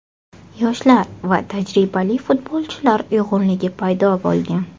Yoshlar va tajribali futbolchilar uyg‘unligi paydo bo‘lgan.